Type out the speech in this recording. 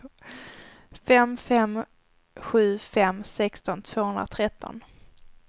fem fem sju fem sexton tvåhundratretton